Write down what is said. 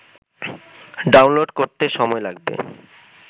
download করতে সময় লাগবে